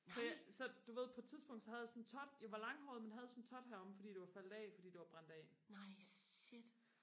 så jeg så du ved på et tidspunkt så havde jeg sådan en tot jeg var langhåret men havde sådan en tot heromme fordi det var faldet af fordi det var brændt af